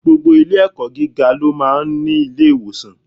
Gbogbo ilé ẹ̀kọ́ gíga ló máa ń ní ilé-ìwòsàn.